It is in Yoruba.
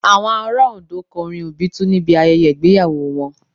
Àwọn ará Òndó kọ orin Obitun níbi ayẹyẹ ìgbéyàwó wọn